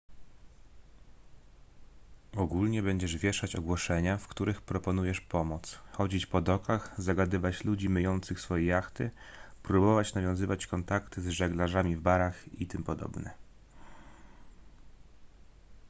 ogólnie będziesz wieszać ogłoszenia w których proponujesz pomoc chodzić po dokach zagadywać ludzi myjących swoje jachty próbować nawiązywać kontakty z żeglarzami w barach itp